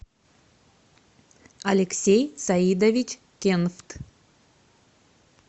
алексей саидович кенфт